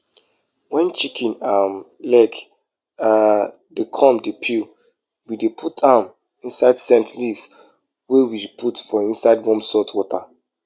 fruit pikas dey fruit pikas dey hep kip fruit quality especially di ones wey we wan export or use for juice.